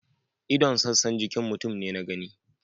ldon' sassan jikin mutum ne na gani.